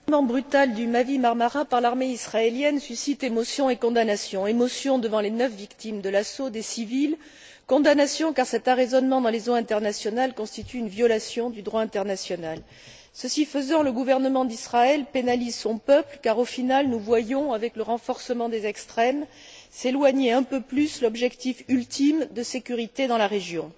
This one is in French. Monsieur le Président, l'arraisonnement brutal du Mavi Marmara par l'armée israélienne suscite émotion et condamnation. Emotion devant les neuf victimes civiles de l'assaut. Condamnation car cet arraisonnement dans les eaux internationales constitue une violation du droit international. Ce faisant, le gouvernement d'Israël pénalise son peuple car, au final, nous voyons, avec le renforcement des extrêmes, s'éloigner un peu plus l'objectif ultime de sécurité dans la région.